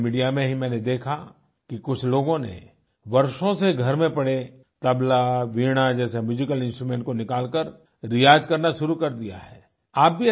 social media में ही मैंने देखा कि कुछ लोगो ने वर्षों से घर में पड़े तबला वीणा जैसे म्यूजिकल इंस्ट्रूमेंट को निकालकर रियाज़ करना शुरू कर दिया है